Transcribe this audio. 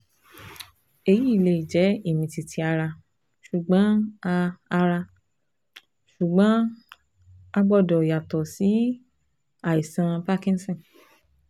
èyí lè jẹ́ ìmìtìtì ara, ṣùgbọ́n a ara, ṣùgbọ́n a gbọ́dọ̀ yàtọ̀ sí àìsàn parkinson